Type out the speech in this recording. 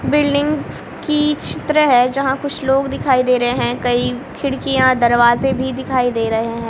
Buildings की चित्र है जहां कुछ लोग दिखाई दे रहे हैं कई खिड़कियां दरवाजे भी दिखाई दे रहे हैं।